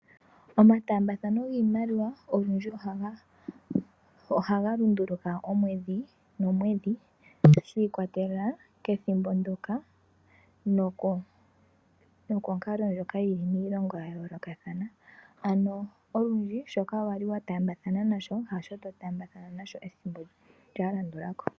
Omataambathano giimaliwa ogendji ohagalunduluka omwedhi nomwedhi shiikwatelela kethimbo ndyoka nokonkalo ndjoka yili miilonga yayoolokathana, ano olundji shoka wali wataambathana nasho hasho to taamba thana nasho ethimbo lyalandulako.